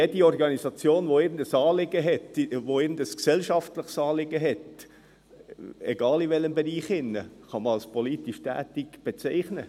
Jede Organisation, die irgendein gesellschaftliches Anliegen hat, egal in welchem Bereich, kann man als «politisch tätig» bezeichnen.